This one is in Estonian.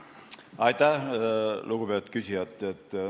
Aitäh, lugupeetud küsija!